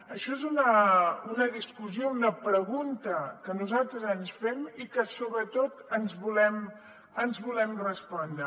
això és una discussió una pregunta que nosaltres ens fem i que sobretot ens volem respondre